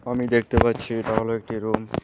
আমি দেখতে পাচ্ছি এটা হল একটি রুম ।